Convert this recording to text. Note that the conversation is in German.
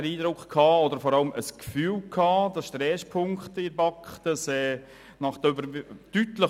Diese Motionen wurden im Grossen Rat deutlich überwiesen.